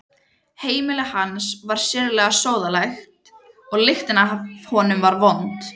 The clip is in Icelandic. Heimili hans var sérlega sóðalegt og lyktin af honum vond.